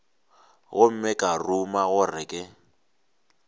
gomme ka ruma gore ke